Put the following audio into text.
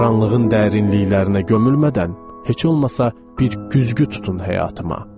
Qaranlığın dərinliklərinə gömülmədən, heç olmasa bir güzgü tutun həyatıma.